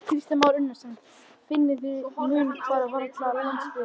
Kristján Már Unnarsson: Þið finnið mun hvað varðar landsbyggðina?